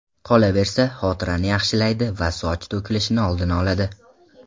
Qolaversa, xotirani yaxshilaydi va soch to‘kilishini oldini oladi.